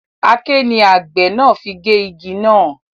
Aké ni àgbẹ̀ náà fi gé igi náà